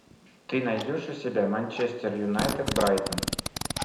ты найдешь у себя манчестер юнайтед брайтон